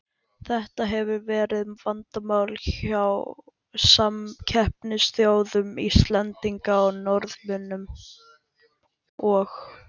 Þetta hefur verið mikið vandamál hjá samkeppnisþjóðum Íslendinga, Norðmönnum og